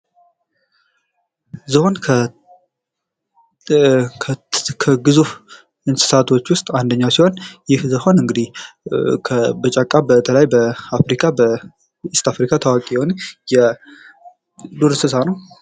ዝሆን ከግዙፍ እንስሳቶች ውስጥ አንደኛው ሲሆን ይህ ዝሆን እንግዲህ በጫካ በተለይ በአፍሪካ በኢስት አፍሪካ ታዋቂ የሆነ የዱር እንስሳ ነው ።